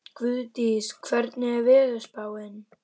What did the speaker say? Guðdís, hvernig er veðurspáin?